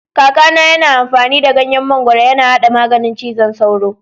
Kaka na yana amfani da ganyen mangoro yana haɗa maganin cizon sauro.